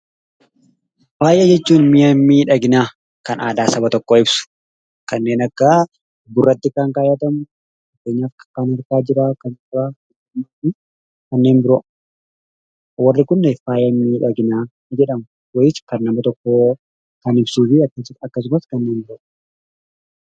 Faaya jechuun mi'a miidhaginaa kannaadaa saba tokkoo ibsu lanneen akka vurratti kan kaayatamu, kan gurraa, kan qubaa fi kanneen biroo. Warreen kun faaya miidhaginaa jedhamu.